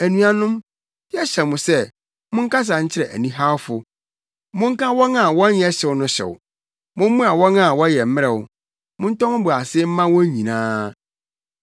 Anuanom, yɛhyɛ mo sɛ monkasa nkyerɛ anihawfo, monka wɔn a wɔnyɛ hyew no hyew; mommoa wɔn a wɔyɛ mmerɛw; montɔ mo bo ase mma wɔn nyinaa.